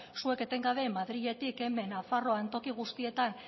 zuek etengabe madriletik hemen nafarroan toki guztietan